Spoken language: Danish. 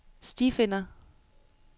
stifinder